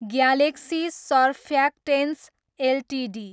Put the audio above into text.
galaxy Surfactants Ltd